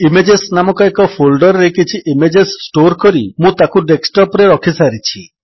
image ନାମକ ଏକ folder ରେ କିଛି ଇମେଜେସ୍ ଷ୍ଟୋର୍ କରି ମୁଁ ତାକୁ ଡେସ୍କଟପ୍ ରେ ରଖିସାରିଛି